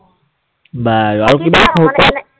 বাৰু, আৰু কিবা